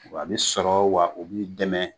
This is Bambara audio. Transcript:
Wa bi sɔrɔ wa o b'i dɛmɛ